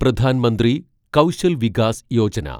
Pradhan Mantri Kaushal Vikas Yojana